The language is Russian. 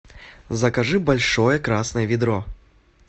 закажи большое красное ведро